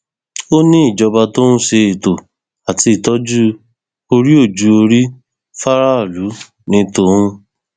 ó ní ìjọba tó ń ṣe ètò àti ìtọjú oríòjùọrí fáráàlú ní tòun